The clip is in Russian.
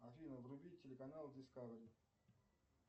афина вруби телеканал дискавери